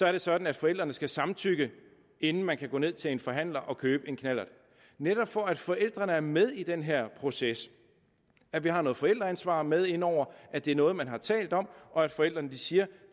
er sådan at forældrene skal samtykke inden man kan gå ned til en forhandler og købe en knallert det netop for at forældrene er med i den her proces at vi har noget forældreansvar med inde over at det er noget man har talt om og for at forældrene siger at